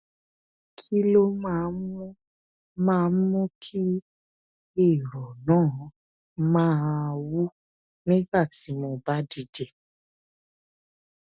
kí ló máa ń mú máa ń mú kí èrò náà máa ń wú nígbà tí mo bá dìde